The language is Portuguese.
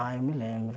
Ah, eu me lembro.